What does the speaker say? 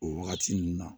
O wagati nun na